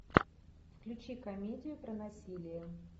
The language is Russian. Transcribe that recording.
включи комедию про насилие